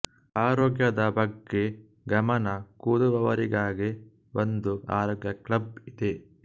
ಆರೋಗ್ಯದ ಬಗ್ಗೆ ಗಮನ ಕೊದುವವರಿಗಾಗೆ ಒಂದು ಆರೋಗ್ಯ ಕ್ಲಬ್ ಇದೆ